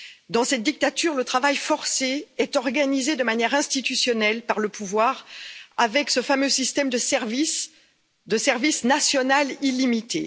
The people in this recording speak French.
Dans cette dictature, le travail forcé est organisé de manière institutionnelle par le pouvoir, avec ce fameux système de service national illimité.